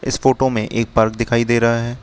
इस फोटो में एक पार्क दिखाई दे रहा है।